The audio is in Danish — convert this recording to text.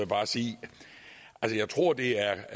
bare sige at jeg tror det er